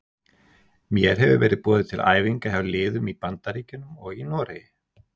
Mér hefur verið boðið til æfinga hjá liðum í Bandaríkjunum og Noregi.